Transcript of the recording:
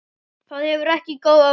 Það hefur ekki góð áhrif.